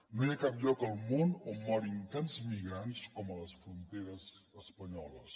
no hi ha cap lloc al món on morin tants migrants com a les fronteres espanyoles